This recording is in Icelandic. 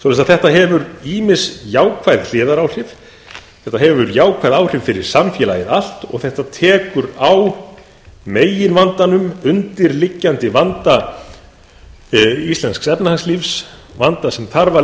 þetta hefur ýmis jákvæð hliðaráhrif þetta hefur jákvæð áhrif fyrir samfélagið allt og þetta tekur á meginvandanum undirliggjandi vanda íslensks efnahagslífs vanda sem þarf að